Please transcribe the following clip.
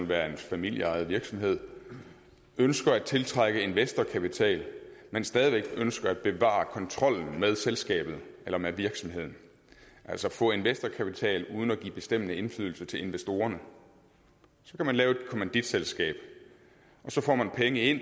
være en familieejet virksomhed ønsker at tiltrække investorkapital men stadig væk ønsker at bevare kontrollen med selskabet eller med virksomheden altså få investorkapital uden at give bestemmende indflydelse til investorerne så kan man lave et kommanditselskab og så får man penge ind